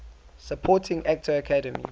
supporting actor academy